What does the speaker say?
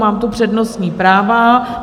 Mám tu přednostní práva.